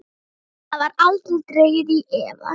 Það var aldrei dregið í efa.